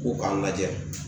U k'a lajɛ